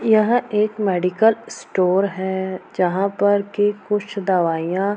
यह एक medical store है जहाँ पर की कुछ दवाईयां --